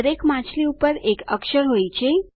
દરેક માછલી પર એક અક્ષર હોય છે